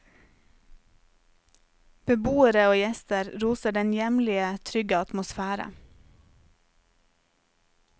Beboere og gjester roser den hjemlige, trygge atmosfære.